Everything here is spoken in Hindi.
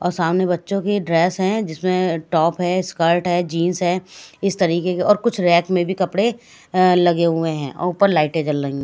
सामने बच्चों की ड्रेस हैं जिसमें टॉप है स्कर्ट है जींस है इस तरीके के और कुछ रैक में भी कपड़े अं लगे हुए हैं और ऊपर लाइटें जल रही--